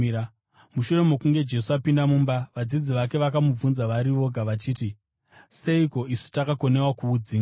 Mushure mokunge Jesu apinda mumba, vadzidzi vake vakamubvunza vari voga vachiti, “Seiko isu takakundikana kuudzinga?”